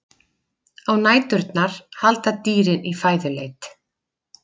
Á næturnar halda dýrin í fæðuleit.